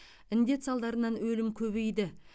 індет салдарынан өлім көбейді